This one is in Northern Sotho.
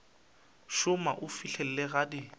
šoma go fihlela ge di